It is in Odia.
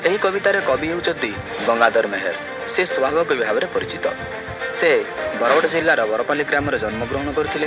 ଏଇ କବିତା ରେ କବି ହେଉଚନ୍ତି ଗଙ୍ଗାଧର ମେହେର ସେ ସୁଆଙ୍ଗ କବି ଭାବରେ ପରିଚିତ ସେ ବରଗଡ଼ ଜିଲ୍ଲାର ବରପାଲ୍ଲୀ ଗ୍ରାମରେ ଜନ୍ମ ଗ୍ରହଣ କରିଥିଲେ।